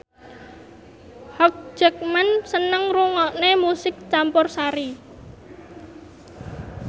Hugh Jackman seneng ngrungokne musik campursari